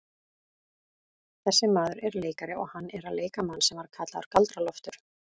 Þessi maður er leikari og hann er að leika mann sem var kallaður Galdra-Loftur.